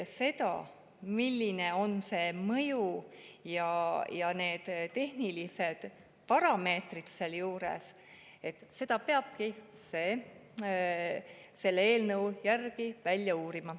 See, milline on see mõju ja millised on need tehnilised parameetrid, tulebki selle eelnõu järgi välja uurida.